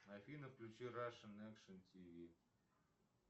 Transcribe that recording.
афина включи рашен экшн тв